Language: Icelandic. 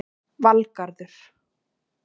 Valgarður